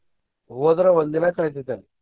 ಹೋದ್ರ ಒಂದ್ ದಿನಾ ಕಳಿತೇತಿ ಅಲ್ಲಿ.